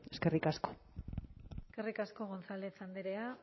eskerrik asko eskerrik asko gonzález andrea